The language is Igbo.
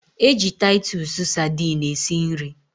E ji taitus Sadini esi nri